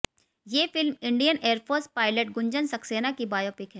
ये फिल्म Indian air force pilot Gunjan Saxena की बायोपिक है